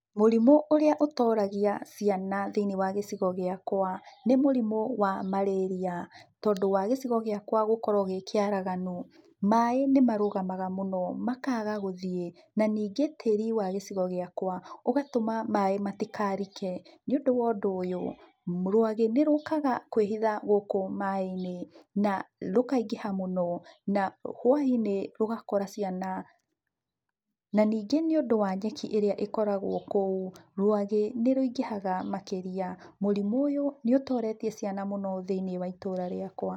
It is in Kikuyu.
Mũrimũ ũrĩa ũtoragia ciana thĩinĩ wa gĩcigo gĩakwa, nĩ mũrimũ wa Marĩria. Tondũ wa gicigo gĩakwa gũkorwo gĩ kĩaraganu, maĩ nĩ marũgamaga mũno makaga gũthiĩ. Na ningĩ tĩri wa gĩcigo gĩakwa ũgatũma maĩ matikarike. Nĩ ũndũ wa ũndũ ũyũ rwagĩ nĩ rũkaga kwĩhitha gũkũ maĩ-inĩ, na rũkaingĩha mũno na hwai-inĩ rũgakora ciana. Na ningĩ nĩ ũndũ wa nyeki ĩrĩa ĩkoragwo kũu rwagĩ nĩ rũingĩhaga makĩria. Mũrimũ ũyũ nĩ ũtoretie ciana mũno thĩiniĩ wa itũra rĩakwa.